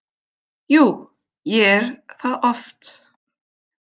Jú, ég er það oft.